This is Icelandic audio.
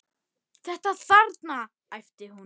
Þetta þarna, æpti hún.